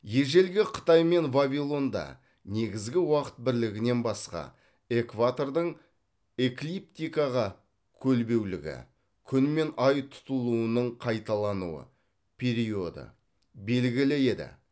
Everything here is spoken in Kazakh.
ежелгі қытай мен вавилонда негізгі уақыт бірлігінен басқа экватордың эклиптикаға көлбеулігі күн мен ай тұтылуының қайталануы периоды белгілі еді